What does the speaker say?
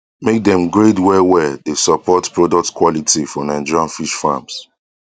make dem grade well well dey support products quality for nigerian fish farms